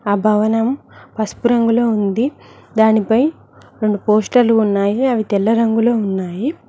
ఆ భవనం పసుపు రంగులో ఉంది దానిపై రోండు పోస్టర్లు ఉన్నాయి అవి తెల్ల రంగులో ఉన్నాయి.